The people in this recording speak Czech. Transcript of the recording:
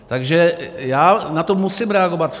Takže já na to musím reagovat.